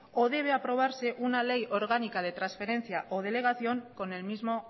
o debe aprobarse una ley orgánica de transferencia o delegación con el mismo